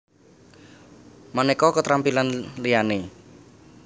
Manéka keterampilan liyané